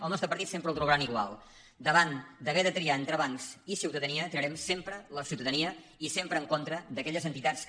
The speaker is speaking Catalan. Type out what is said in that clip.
el nostre partit sempre el trobaran igual davant d’haver de triar entre bancs i ciutadania triarem sempre la ciu·tadania i sempre en contra d’aquelles entitats que